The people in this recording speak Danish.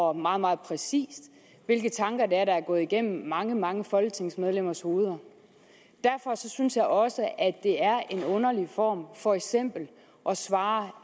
og meget meget præcist hvilke tanker det er der er gået igennem mange mange folketingsmedlemmers hoveder derfor synes jeg også at det er en underlig form for eksempel at svare